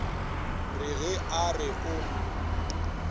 re ge a re o